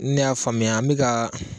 Ni ne y'a faamuya an bɛ ka